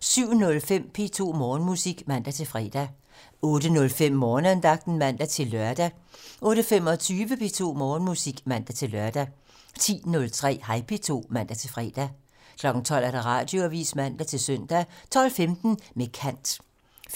07:05: P2 Morgenmusik (man-fre) 08:05: Morgenandagten (man-lør) 08:25: P2 Morgenmusik (man-lør) 10:03: Hej P2 (man-fre) 12:00: Radioavisen (man-søn) 12:15: Med kant